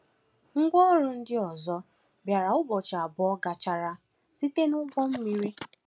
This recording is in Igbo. Ngwa ọrụ ndị ọzọ bịara ụbọchị abụọ gachara site n’ụgbọ mmiri.”